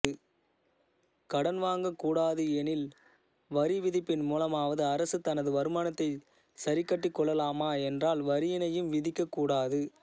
கடன் வாங்கக் கூடாது எனில்வரி விதிப்பின் மூலமாவது அரசு தனது வருமானத்தினைச் சரிக்கட்டிக் கொள்ளலாமா என்றால் வரியினையும் விதிக்கக் கூடாது